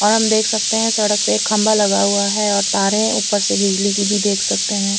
हम देख सकते है सड़क पे एक खम्बा लगा हुआ है और तारे ऊपर से बिजली की भी देख सकते है।